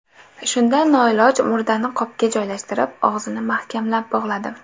Shunda noiloj murdani qopga joylashtirib, og‘zini mahkamlab bog‘ladim.